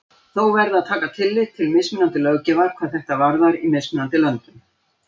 Þó verði að taka tillit til mismunandi löggjafar hvað þetta varðar í mismunandi löndum.